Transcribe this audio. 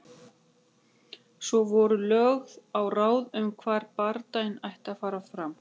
Svo voru lögð á ráðin um hvar bardaginn ætti að fara fram.